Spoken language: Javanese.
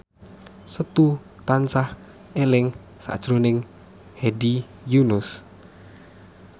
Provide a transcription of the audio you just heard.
Setu tansah eling sakjroning Hedi Yunus